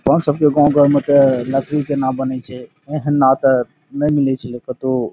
कौन सब के गाँव गाँव में त लकड़ी के नाव बनिच छे। एह ना त नै मिलै छीलो कतो।